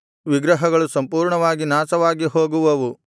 ವಿಗ್ರಹಗಳು ಸಂಪೂರ್ಣವಾಗಿ ನಾಶವಾಗಿ ಹೋಗುವವು